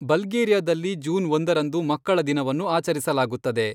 ಬಲ್ಗೇರಿಯಾದಲ್ಲಿ June ಒಂದರಂದು ಮಕ್ಕಳ ದಿನವನ್ನು ಆಚರಿಸಲಾಗುತ್ತದೆ.